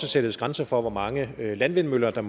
sættes grænser for hvor mange landvindmøller der